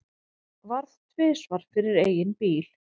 Varð tvisvar fyrir eigin bíl